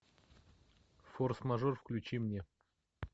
форс мажор включи мне